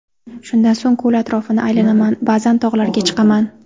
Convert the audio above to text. Shundan so‘ng ko‘l atrofini aylanaman, ba’zan tog‘larga chiqaman.